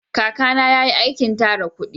Kaka na ya yi aikin tara kudi